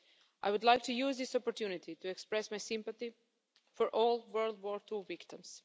I would like to use this opportunity to express my sympathy for all World War II victims.